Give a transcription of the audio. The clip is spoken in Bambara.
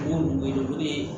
N y'o wele o ye